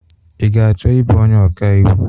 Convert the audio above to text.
I ga-achọ ibụ onye ọka iwu?